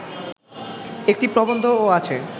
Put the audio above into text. একটি প্রবন্ধও আছে